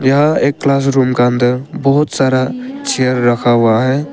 यह एक क्लासरूम का अंदर बहुत सारा चेयर रखा हुआ है।